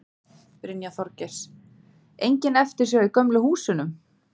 Brynja Þorgeirsdóttir: Engin eftirsjá í gömlu húsunum?